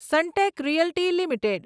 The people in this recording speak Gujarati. Sunteck Realty limited